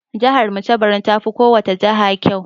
Jahar mu ta Barno tafi kowacce jaha ƙyau.